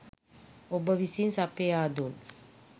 ඔබ විසින් සපයා දුන්